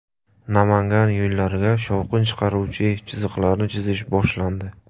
Namangan yo‘llariga shovqin chiqaruvchi chiziqlarni chizish boshlandi.